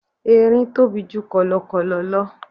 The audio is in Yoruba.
Erin tóbi ju kọ̀lọ̀kọ̀lọ̀ lọ.